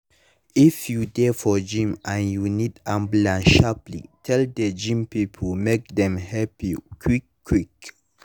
if you dey for gym and you need ambulance sharply tell the gym people make dem help you quick quick.